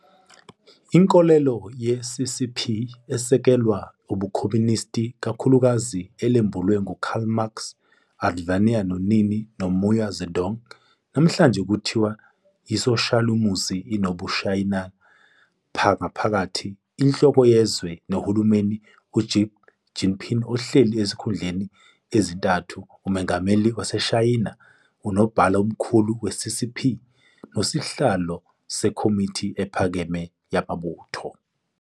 Inkolelo yeCCP isekelwa ubuKhomunisti kakhulukazi olembulwe nguKarl Marx, uVladimir Lenini noMao Zedong - namhlanje kuthiwa yiSoshalizimu enobuShayina ngaphakathi. Inhloko yezwe nehulumeni uXin Jinping ohleli ezikhundleni ezintathu- uMongameli waseShayina, uNobhala oMkhulu we-CCP nesiHlalo seKhomithi ePhakeme yamaButho.